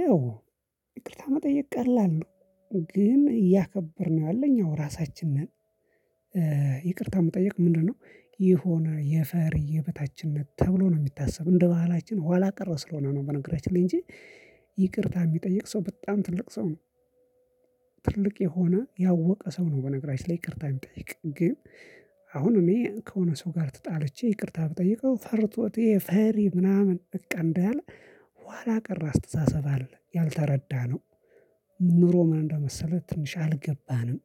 ያው ይቅርታ መጠየቅ ቀላል ነው ግን እያከበርን ያለው እኛው ራሳችን ነን። ይቅርታ መጠየቅ ምንድነው? የሆነ የፈሪ የበታችነት ተብሎ ነው የሚታሰብ እንደ በሀላችን ኋላ ቀረ ስለሆነ ነው በነገራችን ላይ እንጂ። ይቅርታ የሚጠይቅ ሰው በጣም ትልቅ ሰው ነው። ትልቅ የሆነ ያወቀ ሰው ነው በነገራችን ላይ ይቅርታ የሚጠይቅ ግን። አሁን እኔ ከሆነ ሰው ጋር ተጣልቼ ይቅርታ ብጠይቀው ፈርቶት ይሄ ፈሪ ምናምን በቃ እንዳለ። ኋላ ቀር አስተሳሰብ አለ ያልተረዳነው። ኑሮ ምን እንደመሰለ ትንሽ አልገባንም።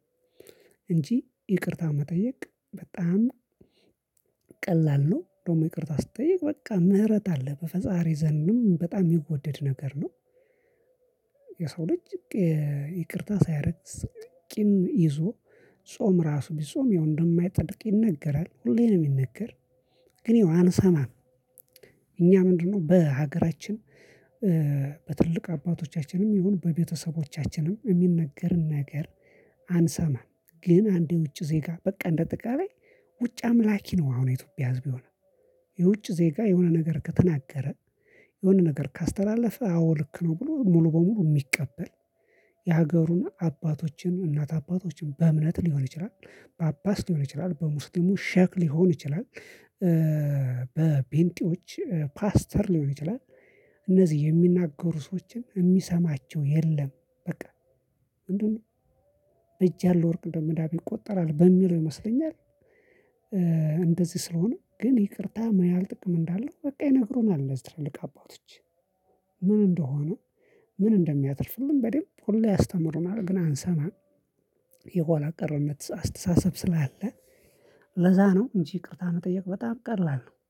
እንጂ ይቅርታ መጠየቅ በጣም ቀላል ነው። ደግሞ ይቅርታ ስትጠይቅ በቃ ምህረት አለ በፈጣሪ ዘንድም በጣም የሚወደድ ነገር ነው። የሰው ልጅ ይቅርታ ሳያረግ ቂም ይዞ ጾም ራሱ ቢጾም ያው እንደማይፀድቅ ይነገራል ሁሌ ነው የሚነገር። ግን ይሄው አንሰማም። እኛ ምንድነው? በሀገራችን በትልልቅ አባቶቻችንም ይሁን በቤተሰቦቻችንም የሚነገርን ነገር አንሰማም። ግን አንድ የ ውጪ ዜጋ በቃ እንደ አጠቃላይ ውጭ አምላኪ ነው አሁን የኢትዮጵያ ህዝብ የሆነው። የውጭ ዜጋ የሆነ ነገር ከተናገረ የሆነ ነገር ካስተላለፈ አዎ ልክ ነው ብሎ ሙሉ በሙሉ የሚቀበል። የሀገሩን አባቶችን እናት አባቶችን በእምነት ሊሆን ይችላል ጳጳስ ሊሆን ይችላል በሙስሊሙ ሼክ ሊሆን ይችላል። በጴንጤዎች ፓስተር ሊሆን ይችላል። እነዚህ የሚናገሩ ሰዎችን የሚሰማቸው የለም። በቃ ምንድነው? በእጅ ያለ ወርቅ እንደ መዳብ ይቆጠራል በሚለው ይመስለኛል። እንደዚህ ስለሆነ ግን ይቅርታ ምን ያህል ጥቅም እንዳለው በቃ ይነግሩናል እዚህ ትልልቅ አባቶች። ምን እንደሆነ? ምን እንደሚያተርፍልን በደንብ ሁሉ ያስተምሩናል ግን አንሰማም። የኋላ ቀርነት አስተሳሰብ ስላለ ለዛ ነው እንጂ ይቅርታ መጠየቅ በጣም ቀላል ነው